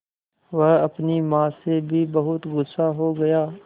वह अपनी माँ से भी बहुत गु़स्सा हो गया